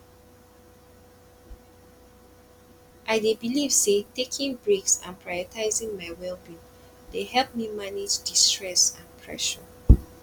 i dey believe say taking breaks and prioritizing my wellbeing dey help me manage di stress and pressure